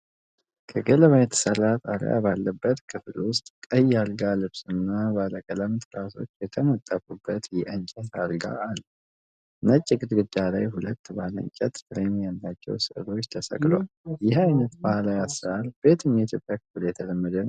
ከገለባ የተሠራ ጣሪያ ባለበት ክፍል ውስጥ፣ ቀይ አልጋ ልብስና ባለቀለም ትራሶች የተነጠፉበት የእንጨት አልጋ አለ። ነጭ ግድግዳ ላይ ሁለት ባለእንጨት ፍሬም ያላቸው ስዕሎች ተሰቅለዋል፤ ይህ አይነት ባህላዊ አሰራር በየትኛው የኢትዮጵያ ክፍል የተለመደ ነው?